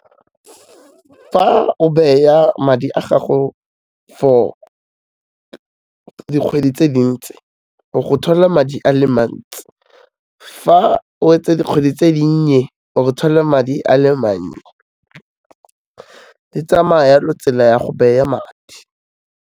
Fa o beya madi a gago for dikgwedi tse dintsi, o go thola madi a le mantsi, fa o etsa dikgwedi tse dinnye o go thola madi a le mannye, di tsamaya yalo tsela ya go beya madi.